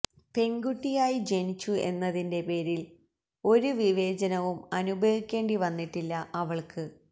പെണ്കുട്ടിയായി ജനിച്ചു എന്നതിന്റെ പേരില് ഒരു വിവേചനവും അനുഭവിക്കേണ്ടി വന്നിട്ടില്ല അവള്ക്ക്